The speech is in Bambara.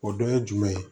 O dɔ ye jumɛn ye